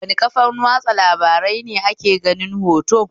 Wane kafan watsa labarai ne ake ganin hoto?